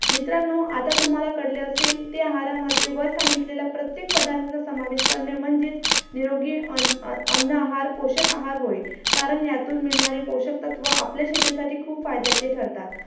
bench ला admission घेतलं. अश्याप्रकारे शिक्षण हे खूप महत्वाचे असते. शिक्षणामुळे आपले जीवनात खूप अं आपण शिक्षणामुळे प्रगती करू शकतो. कारण शिक्षण नसेल तर काहीच नाही.